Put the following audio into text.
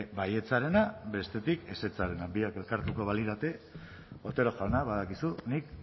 baietzarena bestetik ezetzarena biak elkartuko balirate otero jauna badakizu nik